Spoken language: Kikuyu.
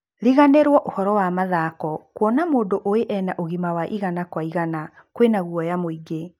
Riganĩrwo ũhoro wa mathako, kuona mũndu ũĩ ena ũgĩma wa igana kwi igana kwĩna guoya mũingi.